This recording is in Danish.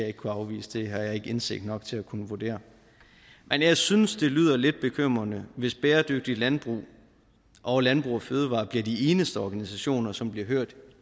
ikke kunne afvise det har jeg ikke indsigt nok til at kunne vurdere men jeg synes det lyder lidt bekymrende hvis bæredygtigt landbrug og landbrug fødevarer bliver de eneste organisationer som bliver hørt